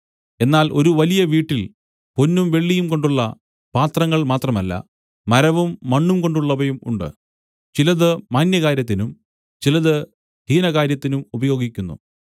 എന്നാൽ ഒരു വലിയ വീട്ടിൽ പൊന്നും വെള്ളിയും കൊണ്ടുള്ള പാത്രങ്ങൾ മാത്രമല്ല മരവും മണ്ണുംകൊണ്ടുള്ളവയും ഉണ്ട് ചിലത് മാന്യകാര്യത്തിനും ചിലത് ഹീനകാര്യത്തിനും ഉപയോഗിക്കുന്നു